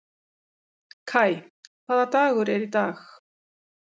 Kai, hvaða dagur er í dag?